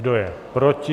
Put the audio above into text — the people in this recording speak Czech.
Kdo je proti?